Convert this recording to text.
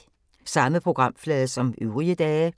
Samme programflade som øvrige dage